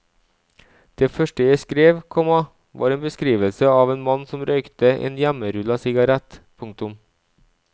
Det første jeg skrev, komma var en beskrivelse av en mann som røykte en hjemmerulla sigarett. punktum